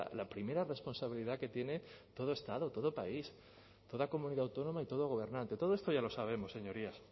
la primera responsabilidad que tiene todo estado todo país toda comunidad autónoma y todo gobernante todo esto ya lo sabemos señorías